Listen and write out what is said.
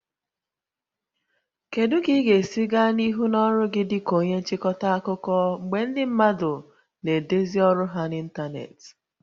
Kedu ka ị ga-esi gaa n'ihu n'ọrụ gị dị ka onye nchịkọta akụkọ mgbe ndị mmadụ na-edezi ọrụ ha n'ịntanetị?